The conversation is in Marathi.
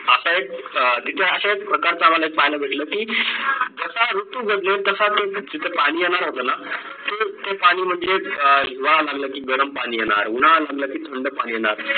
असा एक अं तिथे असा एक प्रकारचा आम्हाला पाहायला भेटला की जसा ऋतू बदलेल तसा तो जिथं पाणी येणार होतं ना ते पाणी म्हणजे हिवाळा म्हणलं की गरम पाणी येणार उन्हाळा म्हणलं की थंड पाणी येणार